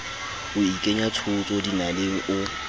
o ikenya tshotso dinaleng o